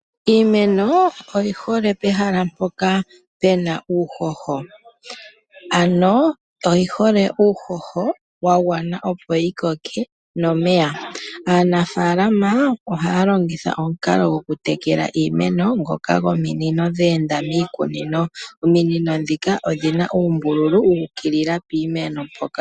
Iimen oyi hole pehala mpoka pena uuhoho, ano oyi hole uuhoho wa gwana opo yi koke nomeya. Aanafaalama ohaya longitha omukalo goku tekela iimeno ngoka gominino dha enda miikunino. Ominino dhika odhina uumbululu wu ukilila piimeno mpoka.